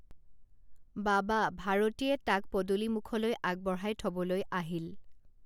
বাবা ভাৰতীয়ে তাক পদূলিমুখলৈ আগবঢ়াই থবলৈ আহিল